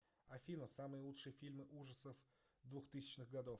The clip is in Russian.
афина самые лучшие фильмы ужасов двухтысячных годов